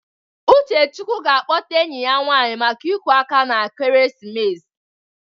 Uchechukwu ga-akpọta enyi ya nwanyị maka iku aka na ekeresimesi a.